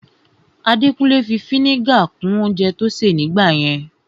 Adekunle fi ẹkan-idiba kún oúnjẹ tó ṣè ní gbà yẹn